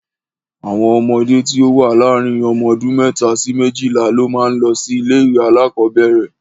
Àwọn ọmọdé tí ó wà láàrin ọmọ ọdún mẹ́ta sí méjìlá ló máa ń lọ sí ilé-ìwé alákọ̀ọ́bẹ̀ẹ̀rẹ̀.